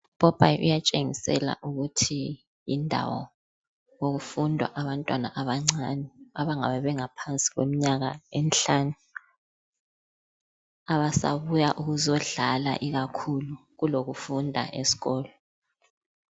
Upopayi uyatshengisela ukuthi yindawo okufundwa abantwana abancane abangabe bengaphansi kwemnyaka emhlanu. Abasabuya ukuzodlala ikakhulu, kulokufunda esikolo.